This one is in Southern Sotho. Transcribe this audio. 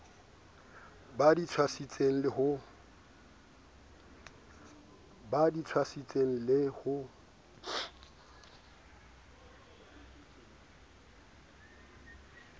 ba di tswasitseng le ho